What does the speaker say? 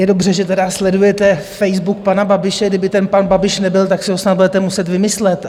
Je dobře, že tedy sledujete Facebook pana Babiše - kdyby ten pan Babiš nebyl, tak si ho snad budete muset vymyslet.